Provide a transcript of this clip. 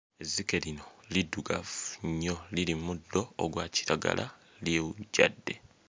Ezzike lino liddugavu nnyo liri mmuddo ogwa kiragala lyewujjadde.